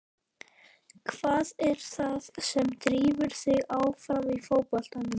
Hvað er það sem drífur þig áfram í fótboltanum?